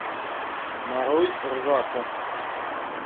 нарой ржаку